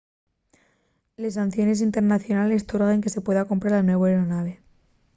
les sanciones internacionales torguen que se pueda comprar la nueva aeronave